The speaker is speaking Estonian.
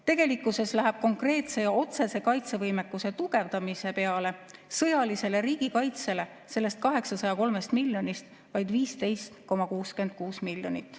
Tegelikkuses läheb konkreetse ja otsese kaitsevõimekuse tugevdamise peale, sõjalisele riigikaitsele sellest 803 miljonist vaid 15,66 miljonit.